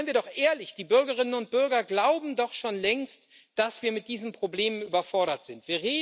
Seien wir doch ehrlich Die Bürgerinnen und Bürger glauben doch schon längst, dass wir mit diesen Problemen überfordert sind.